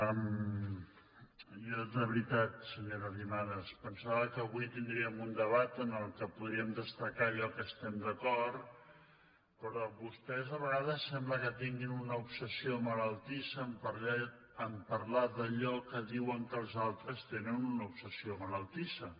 jo de veritat senyora arrimadas pensava que avui tindríem un debat en què podríem destacar allò en què estem d’acord però vostès a ve·gades sembla que tinguin una obsessió malaltissa a parlar d’allò en què diuen que els altres tenen una ob·sessió malaltissa